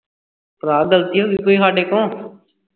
ਭਰਾ ਗਲਤੀ ਹੋ ਗਈ ਸਾਡੇ ਕੋ